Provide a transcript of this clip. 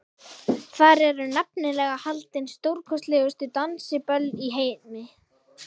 Þar eru nefnilega haldin stórkostlegustu dansiböll í heimi.